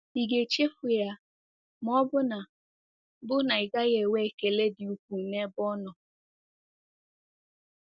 Ị ga-echefu ya, ma ọ bụ na bụ na ị gaghị enwe ekele dị ukwuu n'ebe ọ nọ?